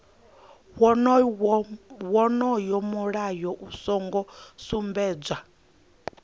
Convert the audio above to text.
wonoyo mulayo u songo sumbedzwa